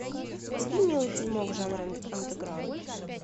вруби милый фильмок жанра андеграунд